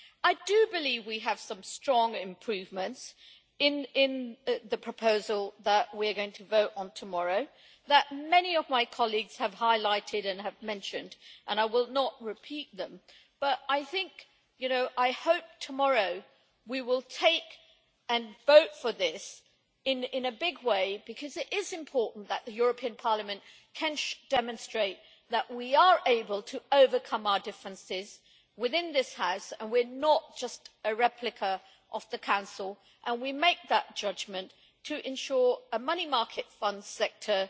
I do believe we have some strong improvements in the proposal that we are going to vote on tomorrow, which many of my colleagues have highlighted and mentioned and I will not repeat them, but I hope that tomorrow we will vote for this in a big way, because it is important that the European Parliament can demonstrate that we are able to overcome our differences within this House, and we are not just a replica of the Council. We make that judgment to ensure that a money market fund sector